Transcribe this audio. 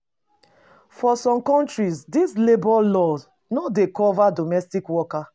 For some countries, di labour laws no dey cover domestic worker